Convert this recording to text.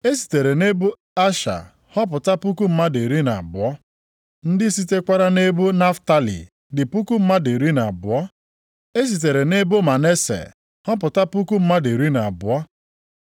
E sitere nʼebo Asha họpụta puku mmadụ iri na abụọ (12,000). Ndị sitekwara nʼebo Naftalị dị puku mmadụ iri na abụọ (12,000). E sitere nʼebo Manase + 7:6 Nʼebe a Manase nwa Josef, weere ọnọdụ Dan. họpụta puku mmadụ iri na abụọ (12,000).